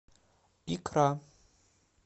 икра